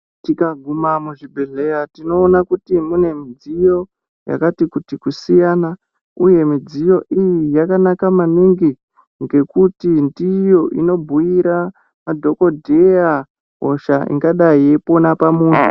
Tikaguma muzvibhedhleya tinoona kuti mune midziyo yakati kuti kusiyana uye midziyo iyi yakanaka maningi ngekuti ndiyo inobhuira madhokodheya hosha ingadai yeipona pamunthu.